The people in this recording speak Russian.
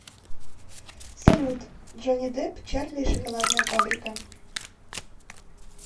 салют джони деп чарли и шоколадная фабрика